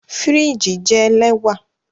Firiji jẹ lẹwa